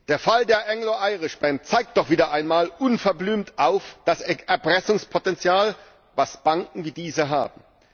Der Fall der Anglo Irish Bank zeigt doch wieder einmal unverblümt das Erpressungspotenzial auf, das Banken wie diese haben.